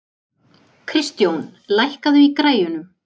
Kristjón, lækkaðu í græjunum.